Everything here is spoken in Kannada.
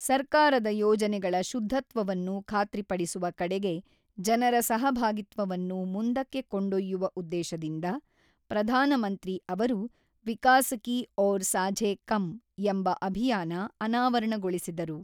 ಸರ್ಕಾರದ ಯೋಜನೆಗಳ ಶುದ್ಧತ್ವವನ್ನು ಖಾತ್ರಿಪಡಿಸುವ ಕಡೆಗೆ ಜನರ ಸಹಭಾಗಿತ್ವವನ್ನು ಮುಂದಕ್ಕೆ ಕೊಂಡೊಯ್ಯುವ ಉದ್ದೇಶದಿಂದ, ಪ್ರಧಾನಮಂತ್ರಿ ಅವರು ವಿಕಾಸ ಕಿ ಓರ್ ಸಾಝೇ ಕಮ್ ಎಂಬ ಅಭಿಯಾನ ಅನಾವರಣಗೊಳಿಸಿದರು.